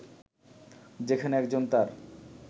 যেখানে একজন তার